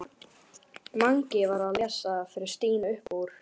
Mangi var að lesa fyrir Stínu upp úr